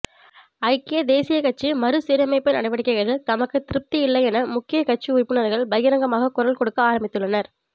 ஐக்கிய தேசியக் கட்சி மறு சீரமைப்பு நடவடிக்கைகளில் தமக்குத் திருப்தியில்லையென முக்கிய கட்சி உறுப்பினர்கள் பகிரங்கமாக குரல் கொடுக்க ஆரம்பித்துள்ளனர்